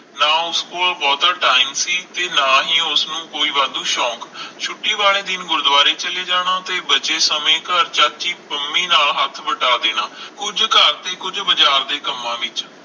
ਨਾ ਉਸ ਕੋਲ ਬਹੁਤਾ ਟਾਇਮ ਸੀ ਤੇ ਨਾ ਹੀ ਉਸਨੂੰ ਕੋਈ ਵਾਧੂ ਸ਼ੋਂਕ ਛੁੱਟੀ ਵਾਲੇ ਦਿਨ ਗੁਰੁਦੁਵਾਰੇ ਚਲੇ ਜਾਣਾ ਤੇ ਬਚੇ ਸਮੇ ਘਰ ਚਾਚੀ ਪੰਮੀ ਨਾਲ ਹੱਥ ਵਟਾ ਦੇਣਾ ਕੁਝ ਘਰ ਦੇ ਕੁਝ ਬਾਜ਼ਾਰ ਦੇ ਕੰਮਾਂ ਵਿਚ